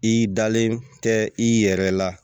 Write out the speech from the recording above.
I dalen tɛ i yɛrɛ la